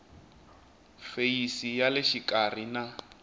feyisi ya le xikarhi na